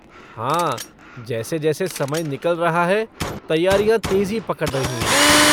हाँ जैसे जैसे समय निकल रहा है तैयारियाँ तेज़ी पकड़ रही हैं।